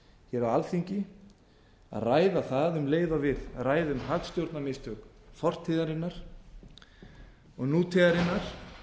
hér á alþingi að ræða það um leið og við ræðum hagstjórnarmistök fortíðarinnar og nútíðarinnar